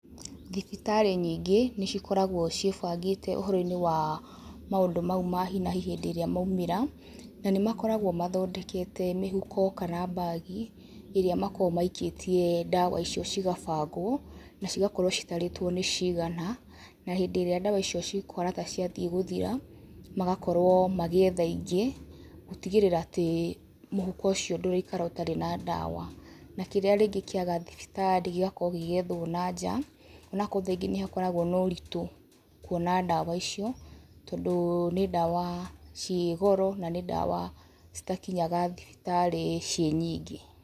Thibitarĩ nyingĩ nĩcĩkoragwo ciĩbangĩte ũhoro-inĩ wa maũndũ mau ma hi na hi hĩndĩ ĩrĩa maumĩra, na nĩmakoragwo mathondekete mĩhuko kana bag iria makoragwo maikĩtie ndawa icio cigabangwo na cigakorwo citarĩtwo nĩ cigana, na hĩndĩ ĩrĩa ndawa icio cikũhana ta ciathiĩ gũthira magakorwo magĩetha ingĩ, gutigĩrĩra atĩ mũhuko ũcio ndũraikara ũtarĩ na ndawa, na kĩrĩa rĩngĩ kĩaga thibitarĩ gĩgakorwo gĩgĩethwo na nja, ona korwo tha ingĩ nĩ gũkoragwo na ũritũ kuona ndawa icio, tondũ nĩ ndawa cirĩ goro, na nĩ ndawa citakinyanga thibitarĩ cirĩ nyingĩ.